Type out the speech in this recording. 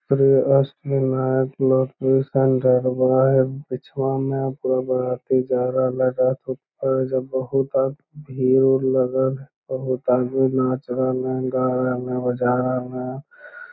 और इ बहुत भीड़ उर लगल हेय बहुत आदमी नाच रहले गा रहले बजा रहले